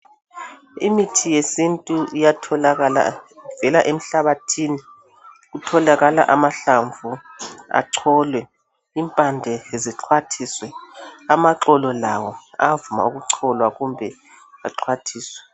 Imithi yesintu iyatholakala ivela emhlabathini. Kutholakala amahlamvu acholwe, impande zixhwathiswe. Amaxolo lawo ayavuma ukucholwa kumbe axhwathiswe.